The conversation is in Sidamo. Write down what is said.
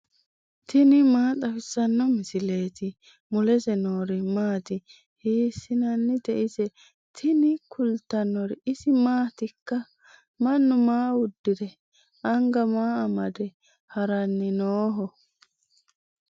tini maa xawissanno misileeti ? mulese noori maati ? hiissinannite ise ? tini kultannori isi maatikka? Mannu maa udirre? Anga maa amade? Haranni nooho?